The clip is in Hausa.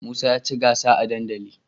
Musa yaci gansa a dandali